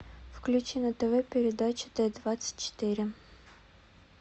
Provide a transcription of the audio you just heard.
включи на тв передачу т двадцать четыре